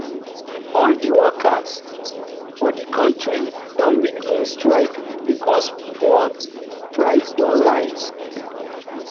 all di workers for di country don begin strike because fuel price don rise